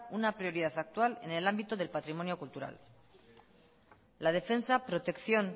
una prioridad actual en el ámbito del patrimonio cultural la defensa protección